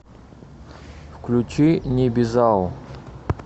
включи небезао